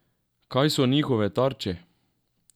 Kaj so njihove tarče?